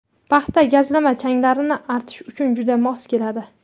Paxta gazlama changlarni artish uchun juda mos keladi.